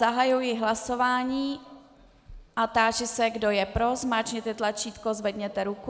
Zahajuji hlasování a táži se, kdo je pro, zmáčkněte tlačítko, zvedněte ruku.